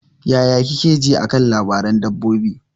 Yaya kike ji a kan labaran dabbobi?